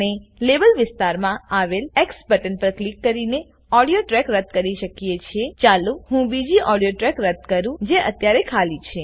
આપણે લેબલ વિસ્તારમાં આવેલ એક્સ બટન પર ક્લિક કરીને ઓડીઓ ટ્રેક રદ કી શકીએ છેચાલો હું બીજી ઓડિયો ટ્રેક રદ કરું જે અત્યારે ખાલી છે